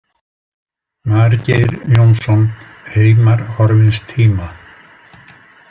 Margeir Jónsson, Heimar horfins tíma.